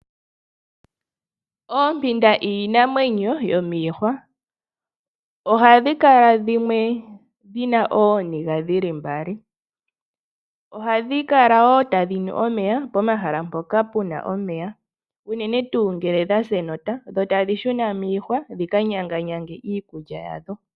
Oompinda iinamwenyo yomiihwa, ohapu kala dhimwe dhina ooniga dhili mbali. Ohadhi kala ta dhinu omeya pomahala mpoka puna omeya unene ngele dha sa enota dho tadhi shuna miihwa dhika nyanganyange iikulya ya dho.